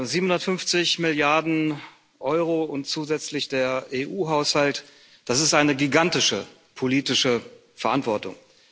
750 Milliarden Euro und zusätzlich der EU Haushalt, das ist eine gigantische politische Verantwortung.